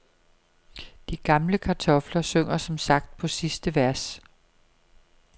De gamle kartofler synger som sagt på sidste vers.